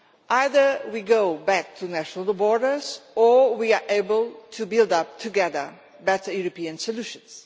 Either we go back to national borders or we are able to build, together, better European solutions.